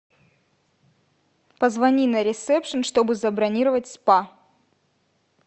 позвони на ресепшн чтобы забронировать спа